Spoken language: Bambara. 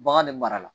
Bagan de mara la